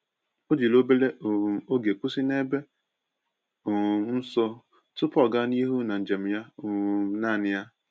O jiri obere um oge kwụsị n’ebe um nsọ tupu ọ gaa n’ihu n'njem ya um naanị ya.